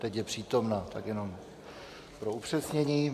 Teď je přítomna, tak jenom pro upřesnění.